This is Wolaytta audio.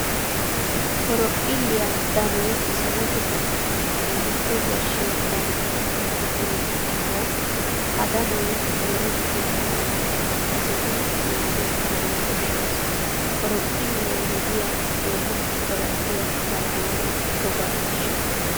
Horophphilliyaa danoy salo gufantton keehippe yashshiya dano qommo gidiyo gishshawu ha danoy merettenna mala kasettidi naagettanawu koshshees. Horophphilee wodiya keehi qoraphphiya zammaana toga miishsha.